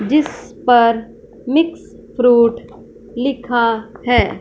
जिस पर mix fruit लिखा है।